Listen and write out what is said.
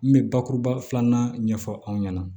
N bɛ bakuruba filanan ɲɛfɔ aw ɲɛna